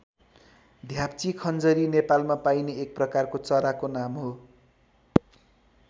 ध्याप्ची खञ्जरी नेपालमा पाइने एक प्रकारको चराको नाम हो।